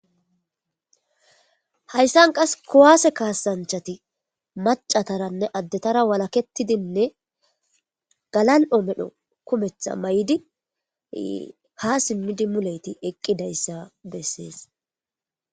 Hayisan qase kuwase kasanchati macataranne addetara walaketidine galal'o medho kumeta mayidi ha simidi muleyiti eqidayisa beses.